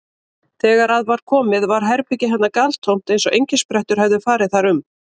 Þegar að var komið var herbergi hennar galtómt eins og engisprettur hefðu farið þar um.